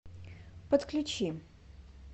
подключи